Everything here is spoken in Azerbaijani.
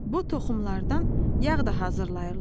Bu toxumlardan yağ da hazırlayırlar.